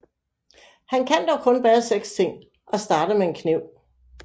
Han kan dog kun bære seks ting og starter med en kniv